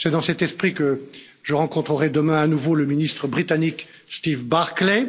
C'est dans cet esprit que je rencontrerai demain à nouveau le ministre britannique Steve Barclay.